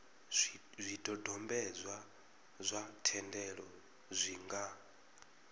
zwidodombedzwa zwa thendelo zwi nga